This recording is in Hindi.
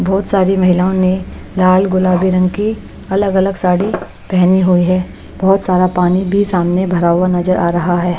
बहोत सारी महिलाओं ने लाल गुलाबी रंग के अलग अलग साड़ी पेहनी हुई है बहोत सारा पानी भी सामने भरा हुआ नजर आ रहा है।